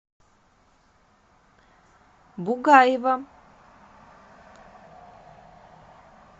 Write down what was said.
бугаева